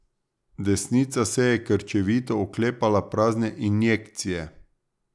Desnica se je krčevito oklepala prazne injekcije.